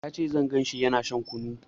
Ya ce zan ganshi yana shan kunu